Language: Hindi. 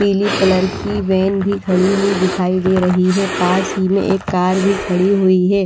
पीली कलर की वेन भी खड़ी हुई दिखाई दे रही है पास ही में एक कार भी खड़ी हुई है।